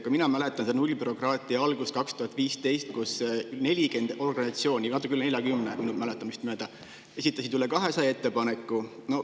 Ka mina mäletan nullbürokraatia algust aastal 2015, kui 40 organisatsiooni – natuke üle 40 minu mäletamist mööda – esitas üle 200 ettepaneku.